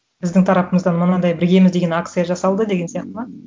біздің тарапымыздан мынандай біргеміз деген акция жасалды деген сияқты ма